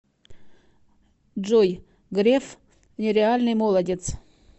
джой греф нереальный молодец